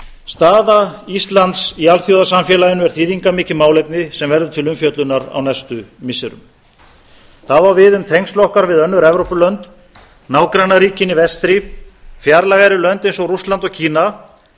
staða íslands í alþjóðasamfélaginu er þýðingarmikið málefni sem verður til umfjöllunar á næstu missirum það á við um tengsl okkar við önnur evrópulönd nágrannaríkin í vestri fjarlægari lönd eins og rússland og kína